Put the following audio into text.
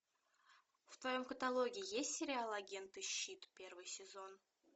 в твоем каталоге есть сериал агенты щит первый сезон